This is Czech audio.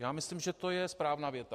Já myslím, že to je správná věta.